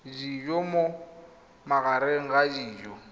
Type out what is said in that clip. dijo mo magareng a dijo